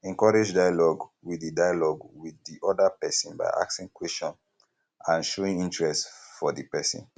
encourage dialogue with di dialogue with di oda person by asking question and showing interest for di person